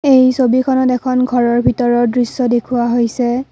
এই ছবিখনত এখন ঘৰৰ ভিতৰৰ দৃশ্য দেখুওৱা হৈছে।